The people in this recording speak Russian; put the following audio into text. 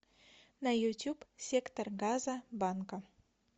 на ютьюб сектор газа банка